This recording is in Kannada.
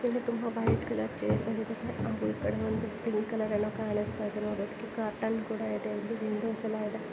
ಇಲ್ಲಿ ತುಂಬಾ ವೈಟ್ ಕಲರ್ ಚೇರ್ಗಳಿವೆ ಹಾಗೂ ಈ ಕಡೆ ಒಂದು ಪಿಂಕ್ ಕಲರ್ ಏನೋ ಕಾಣಿಸ್ತಾಇದೆ. ನೋಡೋಕ್ಕೆ ಕರ್ಟನ್ ಕೂಡ ಇದೆ. ಇಲ್ಲಿ ವಿಂಡೋಸ್ ಎಲ್ಲ ಇದೆ.